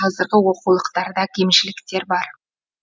қазіргі оқулықтарда кемшіліктер бар